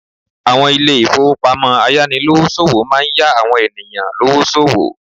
Àwọn Ilé ìfowópamọ́ ayánilówó ṣòwò máa ń yá àwọn ènìyàn lówó sòwò